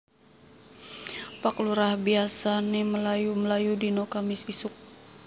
Pak Lurah biasane mlayu mlayu dino Kemis isuk